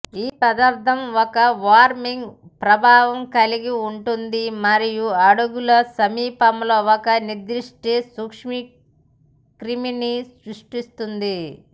ఈ పదార్ధం ఒక వార్మింగ్ ప్రభావం కలిగి ఉంటుంది మరియు అడుగుల సమీపంలో ఒక నిర్దిష్ట సూక్ష్మక్రిమిని సృష్టిస్తుంది